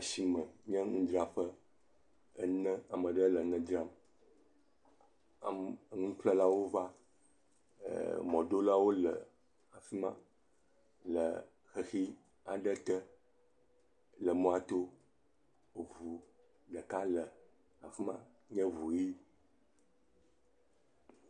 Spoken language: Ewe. Asime nye nudzraƒe. Ene, ame aɖe le ene dzram. Nuƒlelawo va. Mɔdolawo le fi ma le ʋeʋi aɖe te le mɔa to. Ŋu ɖeka le afi ma nye ŋu ʋi.